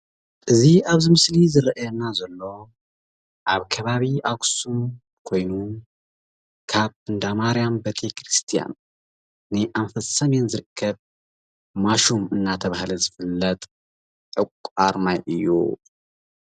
እዚ ኣብዚ ምስሊ እዚ ዝረኣየና ዘሎ ኣብ ከባቢ ኣክሱም ኮይኑ ካብ እንዳ ማርያም ቤተክርስያን ንኣንፈት ሰሜን ዝርከብ ማይሹም እንተብሃለ ዝፍለጥ ዕቋር ማይ እዩ።